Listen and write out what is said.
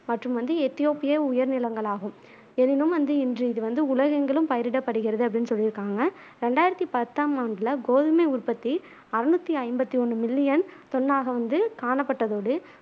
மற்றும் வந்து எத்தியோப்பிய உயர் நிலங்களாகும் எனினும் வந்து இன்று இது வந்து உலகெங்கிலும் பயிரிடப்படுகிறது அப்டினு சொல்லிருக்காங்க ரெண்டாயிரத்து பத்தாம் ஆண்டுல கோதுமை உற்பத்தி அறுனூத்தி ஐம்பத்து ஒன்னு மில்லியன் தொன்னாக வந்து காணப்பட்டதோடு